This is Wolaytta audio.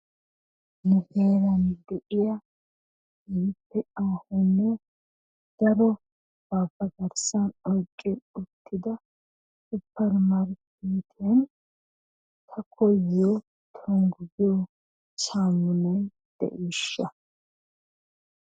Nu heeran de'iyaa keehippe aahonne daroba ba garssan oyqqi uttida suppermarkkeetiyan ta koyyiyo tonggu giyo saamunay de'ishsha?